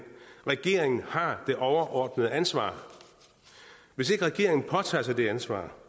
regeringen har det overordnede ansvar hvis ikke regeringen påtager sig det ansvar